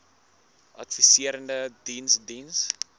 adviserende diens diens